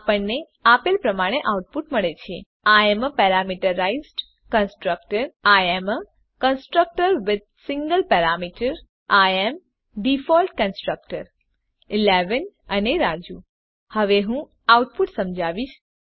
આપણને આપેલ પ્રમાણે આઉટપુટ મળે છે I am a parameterized constructor I am a constructor with a single parameter I am default constructor 11 અને રાજુ હવે હું આઉટપુટ સમજાવીશ